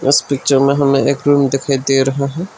इस पिक्चर में हमें एक रूम दिखाई दे रहा है।